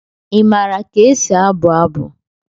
Ị maara ka esi abụ abụ?